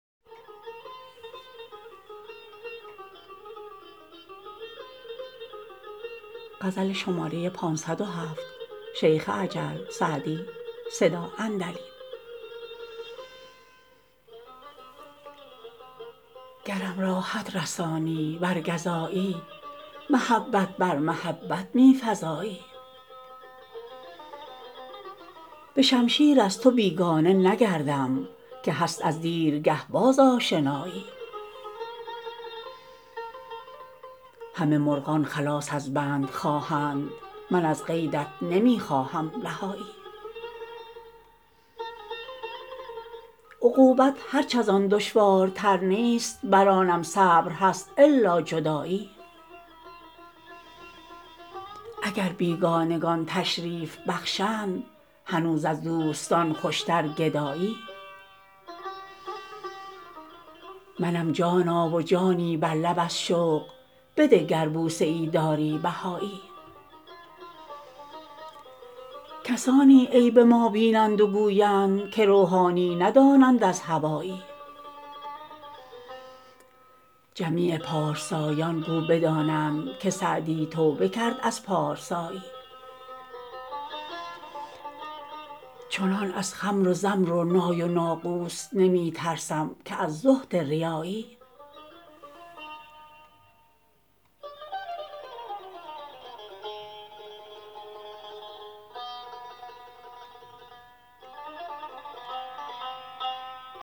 گرم راحت رسانی ور گزایی محبت بر محبت می فزایی به شمشیر از تو بیگانه نگردم که هست از دیرگه باز آشنایی همه مرغان خلاص از بند خواهند من از قیدت نمی خواهم رهایی عقوبت هرچ از آن دشوارتر نیست بر آنم صبر هست الا جدایی اگر بیگانگان تشریف بخشند هنوز از دوستان خوشتر گدایی منم جانا و جانی بر لب از شوق بده گر بوسه ای داری بهایی کسانی عیب ما بینند و گویند که روحانی ندانند از هوایی جمیع پارسایان گو بدانند که سعدی توبه کرد از پارسایی چنان از خمر و زمر و نای و ناقوس نمی ترسم که از زهد ریایی